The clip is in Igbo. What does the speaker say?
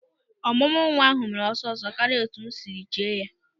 Ọmụmụ nwa ahụ mere ọsịsọ karịa etu m siri che ya.